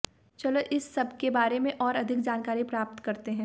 चलो इस सब के बारे में और अधिक जानकारी प्राप्त करते हैं